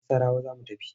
Nassarawa za mu tafi.